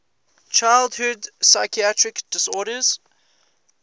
childhood psychiatric disorders